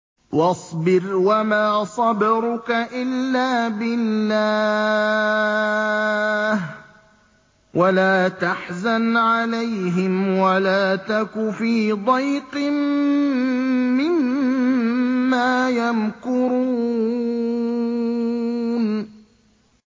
وَاصْبِرْ وَمَا صَبْرُكَ إِلَّا بِاللَّهِ ۚ وَلَا تَحْزَنْ عَلَيْهِمْ وَلَا تَكُ فِي ضَيْقٍ مِّمَّا يَمْكُرُونَ